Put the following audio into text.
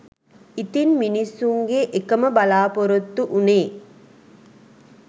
ඉතින් මිනිස්සුන්ගේ එකම බලාපොරොත්තු උනේ